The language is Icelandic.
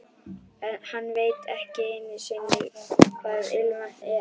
Hann veit ekki einu sinni hvað ilmvatn er.